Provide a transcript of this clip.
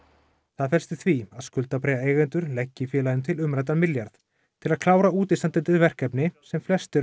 það felst í því að leggi félaginu til umræddan milljarð til að klára útistandandi verkefni sem flest eru